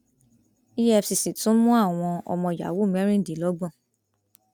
efcc tún mú àwọn ọmọ yahoo mẹrìndínlọgbọn